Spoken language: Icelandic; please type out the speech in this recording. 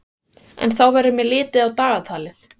En þá verður mér litið á dagatalið.